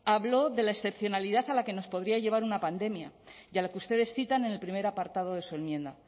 habló de la excepcionalidad a la que nos podría llevar una pandemia y a la que ustedes citan en el primer apartado de su enmienda